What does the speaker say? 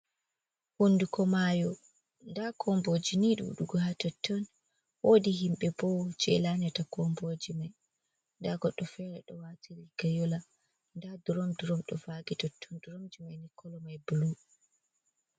Hunduko mayo nda komboji ni ɗuɗugo ha totton, wodi himɓe bo je laƴata komboji mai, nda goddo fere ɗo wati riga yola, nda drom drom ɗo vagi ha totton, dromji mai ni kolo mai bulu.